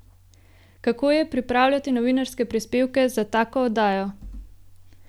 Kako je pripravljati novinarske prispevke za tako oddajo?